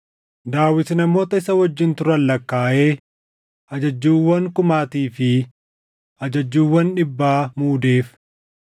Daawit namoota isa wajjin turan lakkaaʼee ajajjuuwwan kumaatii fi ajajjuuwwan dhibbaa muudeef.